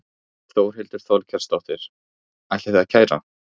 Þórhildur Þorkelsdóttir: Ætlið þið að kæra?